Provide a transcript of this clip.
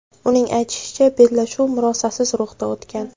Uning aytishicha, bellashuv murosasiz ruhda o‘tgan.